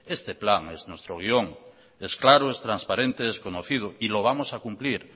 este plan es nuestro guión es claro es transparente es conocido y lo vamos a cumplir